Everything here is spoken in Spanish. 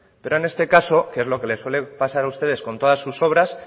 pero en este caso que es lo que les suele pasar a ustedes con todas sus obras